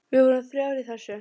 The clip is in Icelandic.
Við vorum þrjár í þessu.